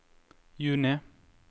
juni